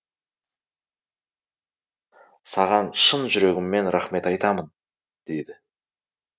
саған шын жүрегімнен рахмет айтамын деді